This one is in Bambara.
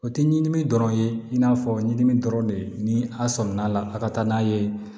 O tɛ ɲinini dɔrɔn ye i n'a fɔ ɲinini dɔrɔn de ye ni a sɔmin'a la a ka taa n'a ye